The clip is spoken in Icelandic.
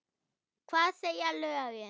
Hvað segja lögin?